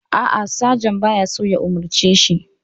A'a, sajan ba ya so ya umarce shi.